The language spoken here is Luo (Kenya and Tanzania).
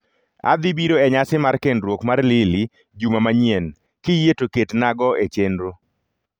Adhi biro e nyasi mar kendruok mar Lilly juma manyien, kiyie to ketna go e chenro